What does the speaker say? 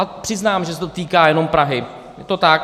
A přiznám, že se to týká jen Prahy, je to tak.